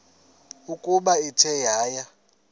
ukuba ithe yaya